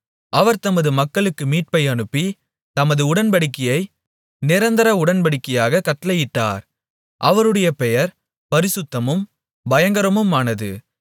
அவர் தமது மக்களுக்கு மீட்பை அனுப்பி தமது உடன்படிக்கையை நிரந்தர உடன்படிக்கையாகக் கட்டளையிட்டார் அவருடைய பெயர் பரிசுத்தமும் பயங்கரமுமானது